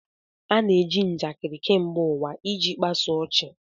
A na-eji njakịrị kemgbe ụwa iji kpasu ọchị